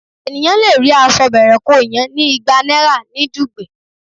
Ènìyàn le rí aṣọ bẹ̀rẹ̀-kóo-yàn ní igba náírà ní Dùgbẹ̀.